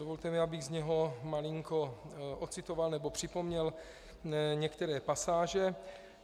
Dovolte mi, abych z něho malinko odcitoval nebo připomněl některé pasáže.